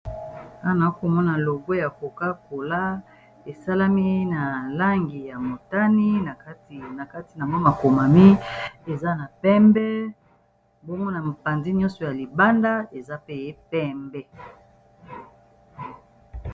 wana akomona logwo ya kokakola esalami na langi ya motani na kati na mwa makomami eza na pembe mbongo na mopanzi nyonso ya libanda eza peye pembe